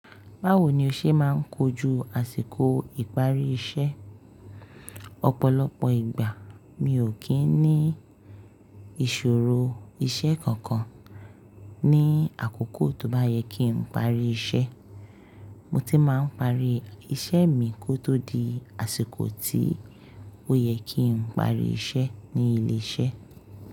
Báwo ni o ṣe máa ń kojú àsìkò ìparí iṣẹ́? Ọ̀pọ̀lọpọ̀ ìgbà mi ò kí ń ní ìṣòro iṣẹ́ kankan ní àkókò tó bá yẹ kí n parí iṣẹ́. Mo ti máa ń parí iṣẹ́ mi kó tó di àsìkò tí ó yẹ kí n parí iṣẹ́ ní ilé iṣẹ́.